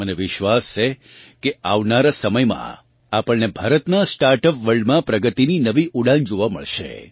મને વિશ્વાસ છે કે આવનારાં સમયમાં આપણને ભારતનાં સ્ટાર્ટઅપ વર્લ્ડમાં પ્રગતિની નવી ઊડાન જોવાં મળશે